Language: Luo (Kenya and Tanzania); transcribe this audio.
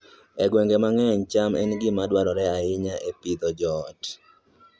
E gwenge mang'eny, cham en gima dwarore ahinya e Pidhoo joot